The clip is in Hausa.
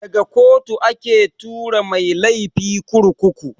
Daga kotu ake tura masu laifi kurkuku.